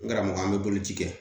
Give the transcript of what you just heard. N karamɔgɔ an bɛ boloci kɛ